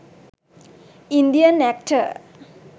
indian acter